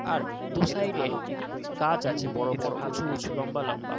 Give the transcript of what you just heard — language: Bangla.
আর দু - সাইড - এ গাছ আছে বড় বড় উঁচু উঁচু লম্বা লম্বা।